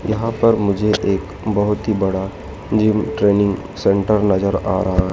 यहां पर मुझे एक बहोत ही बड़ा जिम ट्रेनिंग सेंटर नजर आ रहा--